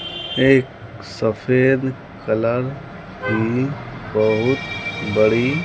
एक सफेद कलर की बहुत बड़ी --